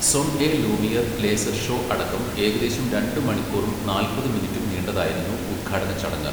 Son et lumiere laser show അടക്കം ഏകദേശം രണ്ട് മണിക്കൂറും നാൽപ്പത് മിനിറ്റും നീണ്ടതായിരുന്നു ഉദ്ഘാടന ചടങ്ങ്.